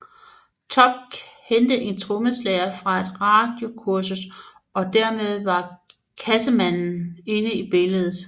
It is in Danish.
Topp kendte en trommeslager fra et radiokursus og dermed var Cassemannen inde i billedet